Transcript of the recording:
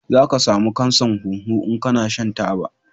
Za ka samu kansan huhu in kana shan taba